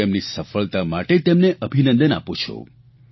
હું તેમની સફળતા માટે તેમને અભિનંદન આપું છું